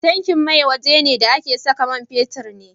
Tankin mai waje ne da ake saka man fetir ne